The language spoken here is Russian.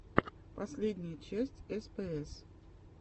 последняя часть спс